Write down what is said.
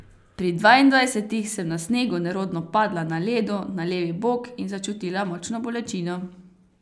Pri dvaindvajsetih sem na snegu nerodno padla na ledu na levi bok in začutila močno bolečino.